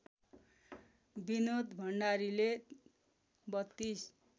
विनोद भण्डारीले ३२